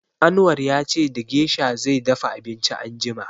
Anwar ya ce da gesha zai dafa abinci anjima.